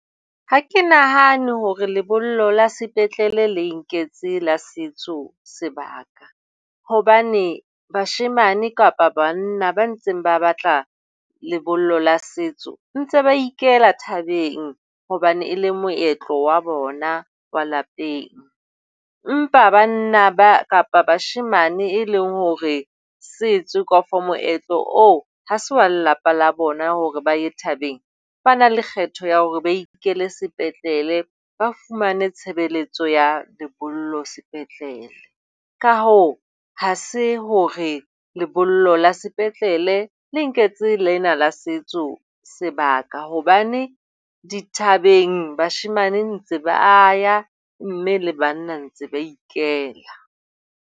Ha ke nahane hore lebollo la sepetlele le nketse la setso sebaka hobane bashemane kapa banna ba ntseng ba batla lebollo la setso ntse ba ikela thabeng hobane e le moetlo wa bona wa lapeng, empa banna ba kapa bashemane e leng hore setso kafo moetlo ha se wa lelapa la bona hore ba e thabeng. Ba na le kgetho ya hore ba ikele sepetlele, ba fumane tshebeletso ya lebollo sepetlele, ka hoo, ha se hore lebollo la sepetlele le nketse lena la setso sebaka hobane dithabeng bashemane ba ntse ba ya, mme le banna ba ntse ba ikela.